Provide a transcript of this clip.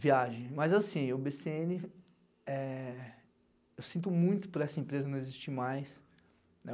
Viagem, mas assim, o bê cê ene é... Eu sinto muito por essa empresa não existir mais, né?